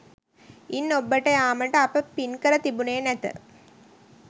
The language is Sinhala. ඉන් ඔබ්බට යාමට අප පින්කර තිබුණේ නැත